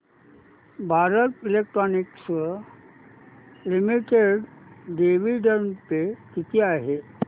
Bharat Electronics Limited dividend pay किती आहे